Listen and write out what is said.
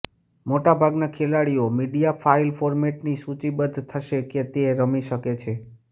મોટાભાગના ખેલાડીઓ media file ફોર્મેટની સૂચિબદ્ધ થશે કે તે રમી શકે છે